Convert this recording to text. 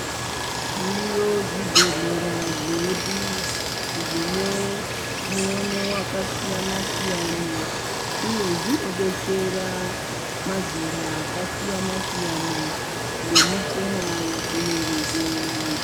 Zviriyo zvibhedhlera zvedu zvine muono wakasiyana siyana uye zvinodetsera mazera akasiyana siyana nemichina yadzinenge dzinazvo.